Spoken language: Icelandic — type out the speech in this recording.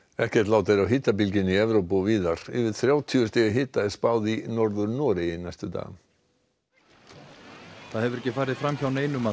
ekkert lát er á hitabylgjunni í Evrópu og víðar yfir þrjátíu stiga hita er spáð í Norður Noregi næstu daga það hefur ekki farið fram hjá neinum að